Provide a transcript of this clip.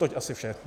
Toť asi vše.